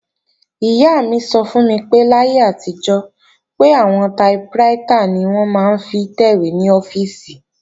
Ìyá mi sọ fún mi pé láyé àtijọ́, pé àwọn taiprítà ni wọ́n máa ń fi ń tẹ̀wé ní ọ́fíìsì